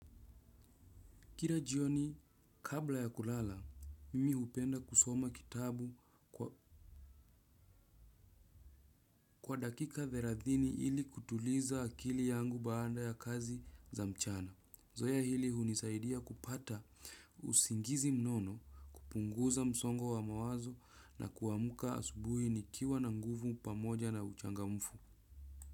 Kila jioni, kabla ya kulala, mimi hupenda kusoma kitabu kwa dakika thelathini ili kutuliza akili yangu baada ya kazi za mchana. Zoea hili hunisaidia kupata usingizi mnono kupunguza msongo wa mawazo na kuamka asubuhi nikiwa na nguvu pamoja na uchangamfu.